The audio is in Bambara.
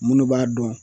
Minnu b'a dɔn